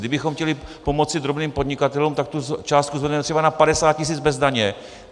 Kdybychom chtěli pomoci drobným podnikatelům, tak tu částku zvedneme třeba na 50 tisíc bez daně.